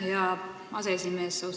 Aitäh, hea aseesimees!